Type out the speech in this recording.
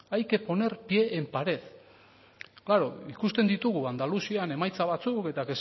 hay que poner pie en pared klaro ikusten ditugu andaluzian emaitza batzuk eta